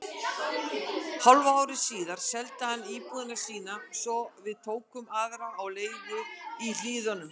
Hálfu ári síðar seldi hann íbúðina sína svo við tókum aðra á leigu í Hlíðunum.